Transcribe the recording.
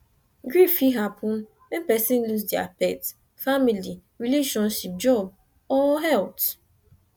grief fit happen when person lose their pet family relationship job or health